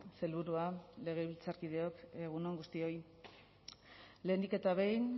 sailburua legebiltzarkideok egun on guztioi lehenik eta behin